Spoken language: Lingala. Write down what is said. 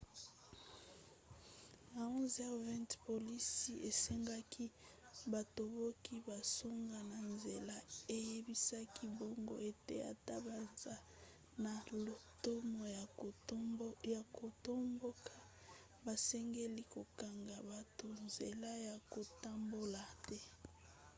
na 11:20 polisi esengaki batomboki bazonga na nzela eyebisaki bango ete ata baza na lotomo ya kotomboka basengeli kokanga bato nzela ya kotambola te